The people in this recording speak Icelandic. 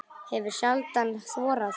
Hefur sjaldan þorað það.